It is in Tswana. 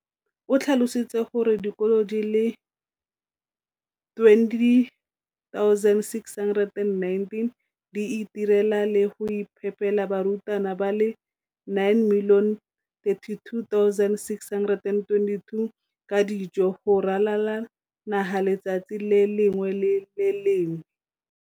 o tlhalositse gore dikolo di le 20 619 di itirela le go iphepela barutwana ba le 9 032 622 ka dijo go ralala naga letsatsi le lengwe le le lengwe.